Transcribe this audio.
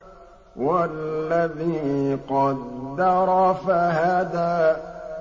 وَالَّذِي قَدَّرَ فَهَدَىٰ